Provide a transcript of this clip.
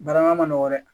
Barama nɔgɔ dɛ